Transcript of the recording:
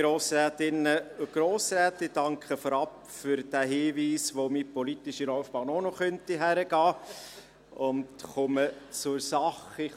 Ich danke für den Hinweis darauf, wohin meine politische Laufbahn auch noch führen könnte, und komme zur Sache.